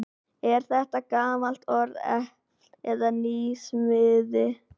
Er þetta gamalt orð eða nýsmíði?